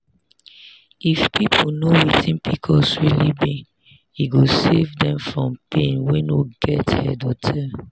if people know wetin pcos really be e go save dem from pain wey no get head or tail